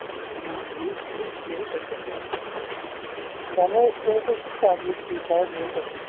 আহ দুখ-সুখ বহুত আছে ন, ডাঙৰ টো বহুত আছে